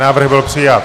Návrh byl přijat.